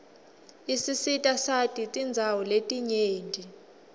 isisitasati tindawo letinyenti